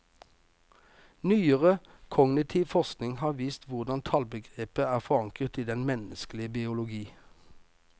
Nyere kognitiv forskning har vist hvordan tallbegrepet er forankret i den menneskelige biologi.